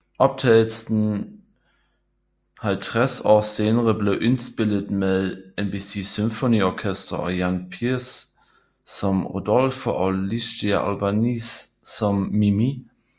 Optagelsen 50 år senere blev indspillet med NBC Symphony Orchestra og Jan Peerce som Rodolfo og Licia Albanese som Mimì